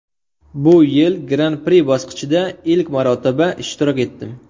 Bu yil Gran-pri bosqichida ilk marotaba ishtirok etdim.